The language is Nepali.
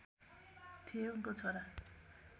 थिए उनको छोरा